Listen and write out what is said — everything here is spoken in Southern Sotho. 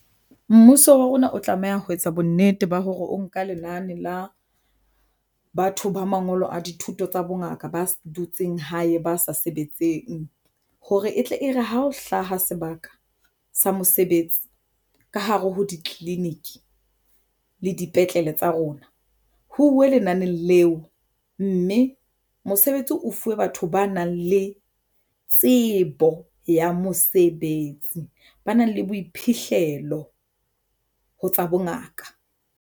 Mmuso wa rona o tlameha ho etsa bonnete ba hore o nka lenane la batho ba mangolo a dithuto tsa bongaka, ba dutseng hae ba sa sebetseng hore e tle e re ha o hlaha sebaka sa mosebetsi ka hare ho ditleliniki le dipetlele tsa rona ho uwe lenaneo leo mme mosebetsi o fuwe batho ba nang le tsebo ya mosebetsi, ba nang le boiphihlelo ho tsa bongaka.